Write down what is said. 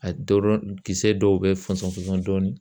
A dɔrɔn kisɛ dɔw bɛ fɔnsɔn fɔsɔn dɔɔnin.